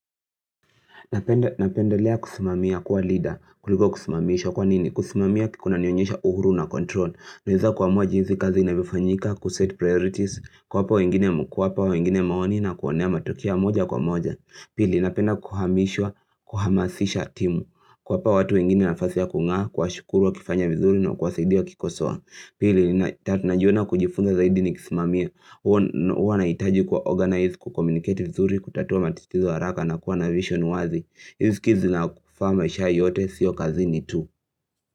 Napendelea kusimamia kuwa leader kuliko kusimamishwa kwa nini kusimamia kunanionyesha uhuru na control Naeza kuamua jinsi kazi inavyofanyika kuset priorities kuwapa wengine mkwapa wengine maoni na kuonea matokea moja kwa moja Pili napenda kuhamishwa kuhamasisha timu kuwapa watu wengine nafasi ya kung'aa kuwashukuru wakifanya vizuri na kuwasaidia kikosoa Pili najiona kujifunga zaidi nikisimamia huwa naitaji kuwa organized kucommunicate vizuri kutatua matitizo haraka na kuwa na vision wazi Izi skills zinakufaa maisha yote sio kazi ni tu.